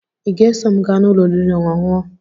Ị ga-eso m gaa n'ụlọ oriri na ọṅụṅụ?